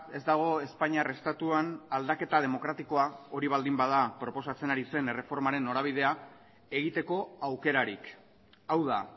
ez dago espainiar estatuan aldaketa demokratikoa hori baldin bada proposatzen ari zen erreformaren norabidea egiteko aukerarik hau da